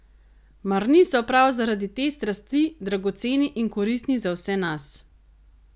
Mar niso prav zaradi te strasti dragoceni in koristni za vse nas?